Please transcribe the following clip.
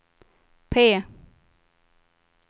P